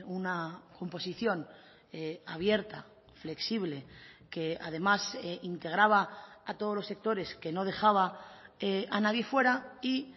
una composición abierta flexible que además integraba a todos los sectores que no dejaba a nadie fuera y